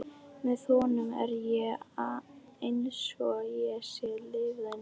Með honum er ég einsog ég sé sífellt ný.